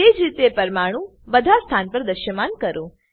તેજ રીતે પરમાણુ બધા સ્થાન પર દ્રશ્યમાન કરો